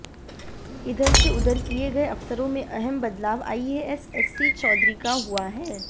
इधर से उधर किए गए अफसरों में अहम बदलाव आईएएस एससी चौधरी का हुआ है